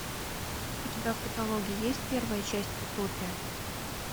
у тебя в каталоге есть первая часть утопия